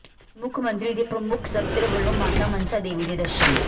ਮੁੱਖ ਮੰਤਰੀ ਦੇ ਪ੍ਰਮੁੱਖ ਸਕੱਤਰ ਵਲੋਂ ਮਾਤਾ ਮਨਸਾ ਦੇਵੀ ਦੇ ਦਰਸ਼ਨ